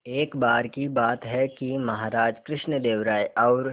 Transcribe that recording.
एक बार की बात है कि महाराज कृष्णदेव राय और